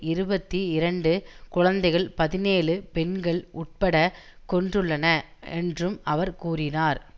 இருபத்தி இரண்டு குழந்தைகள் பதினேழு பெண்கள் உட்பட கொன்றுள்ளன என்றும் அவர் கூறினார்